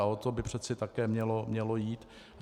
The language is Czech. A o to by přece také mělo jít.